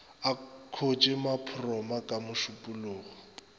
a khoše maphoroma ka mešupologo